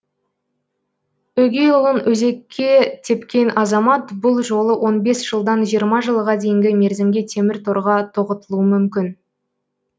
өгей ұлын өзекке тепкен азамат бұл жолы он бес жылдан жиырма жылға дейінгі мерзімге темір торға тоғытылуы мүмкін